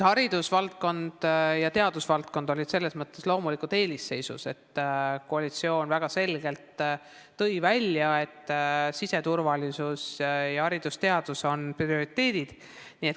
Haridusvaldkond ja teadusvaldkond olid selles mõttes loomulikult eelisseisus, et koalitsioon tõi väga selgelt välja, et siseturvalisus ning haridus ja teadus on prioriteedid.